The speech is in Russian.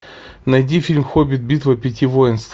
найди фильм хоббит битва пяти воинств